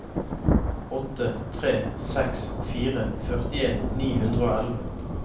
åtte tre seks fire førtien ni hundre og elleve